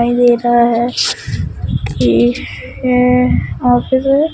दिखाई दे रहा है ये है ऑफिस है।